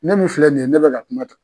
Ne min filɛ nin ye ne bɛ ka kuma